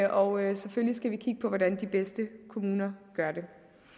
og selvfølgelig skal vi kigge på hvordan de bedste kommuner gør det